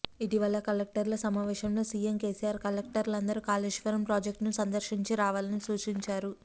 ఇటీవల కలెక్టర్ల సమావేశంలో సీఎం కేసీఆర్ కలెక్టర్లందరూ కాళేశ్వరం ప్రాజెక్ట్ను సందర్శించి రావాలని సూచించారు